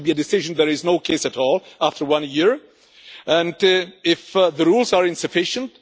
there should be a decision if there is no case at all after one year and if the rules are insufficient.